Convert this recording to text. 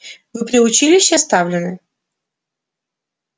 вы при училище оставлены